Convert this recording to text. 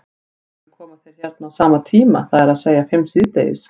Af hverju koma þeir hérna á sama tíma, það er að segja fimm síðdegis?